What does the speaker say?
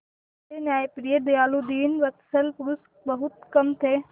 ऐसे न्यायप्रिय दयालु दीनवत्सल पुरुष बहुत कम थे